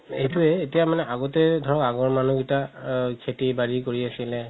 এইটোৱে এতিয়া মানে আগতে ধৰা আগৰ মানুহ কেইতা খেতি বাৰি কৰি আছিলে